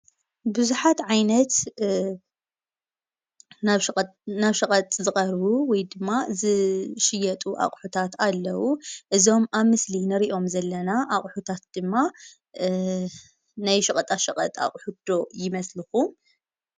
ቡዝሓት ዓይነት እ ናብ ሸቀጥ ናብ ሸቐጥ ዝቀርቡ ወይድማ ዝሽየጡ ኣቁሕታት ኣለው። እዞም ኣብ ምስሊ እንርእዮም ዘለና ኣቁሕታት ድማ እ ናይ ሸቀጣ ሸቀጥ ኣቑሑት ዶ ይመስልኩም?